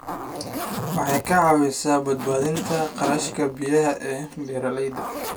Waxay ka caawisaa badbaadinta kharashka biyaha ee beeralayda.